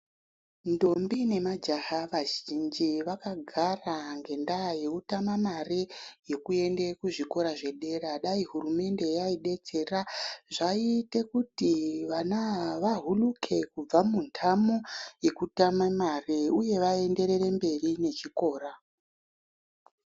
Ndombi nemajaha vazhinji vakagara ngendaa yekutama mari yekuende kuzvikora zvedera. Dai hurumende yaidetsera zvaiite kuti vana ava vahuluke kubva mundamo yekutama mare uye vaenderere mberi nechikora.